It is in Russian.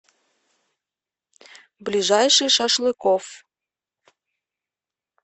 ближайший шашлыкоф